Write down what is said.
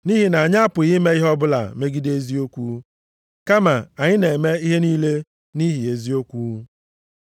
Nʼihi na anyị apụghị ime ihe ọbụla megide eziokwu, kama anyị na-eme ihe niile nʼihi eziokwu.